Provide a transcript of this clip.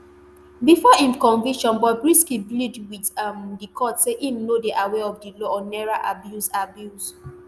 bifor im conviction bobrisky plead wit um di court say im no dey aware of di law on naira abuse abuse